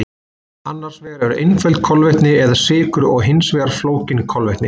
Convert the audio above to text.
Annars vegar eru einföld kolvetni eða sykur og hins vegar flókin kolvetni.